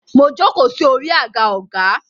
Mo jókòó sí orí àga ọgá.